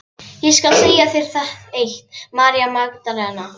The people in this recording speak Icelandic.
Ég skal segja þér eitt, María Magdalena.